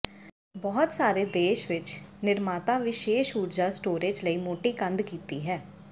ਬਹੁਤ ਸਾਰੇ ਦੇਸ਼ ਵਿੱਚ ਨਿਰਮਾਤਾ ਵਿਸ਼ੇਸ਼ ਊਰਜਾ ਸਟੋਰੇਜ਼ ਲਈ ਮੋਟੀ ਕੰਧ ਕੀਤੀ ਹੈ